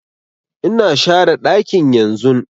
Ina share ɗakin yanzun